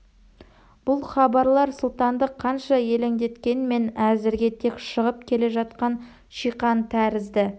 бұл хабарлар сұлтанды қанша елеңдеткенмен әзірге тек шығып келе жатқан шиқан тәрізді